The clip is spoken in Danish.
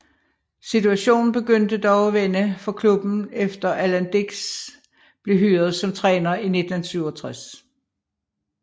Situationen begyndte dog at vende for klubben efter Alan Dicks blev hyret som træner i 1967